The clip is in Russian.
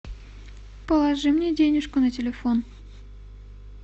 положи мне денежку на телефон